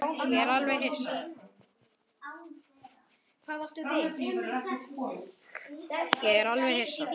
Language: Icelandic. Ég var alveg hissa.